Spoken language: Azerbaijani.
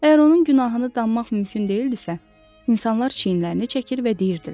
Əgər onun günahını danmaq mümkün deyildisə, insanlar çiyinlərini çəkir və deyirdilər: